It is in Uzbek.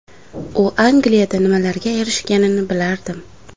U Angliyada nimalarga erishganini bilardim.